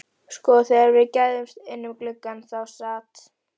Sko, þegar við gægðumst inn um gluggann þá sat